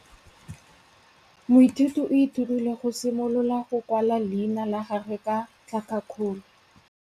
Moithuti o ithutile go simolola go kwala leina la gagwe ka tlhakakgolo.